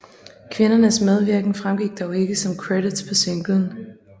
Kvindernes medvirken fremgik dog ikke som credits på singlen